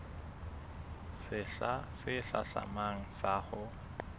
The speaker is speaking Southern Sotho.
sehla se hlahlamang sa ho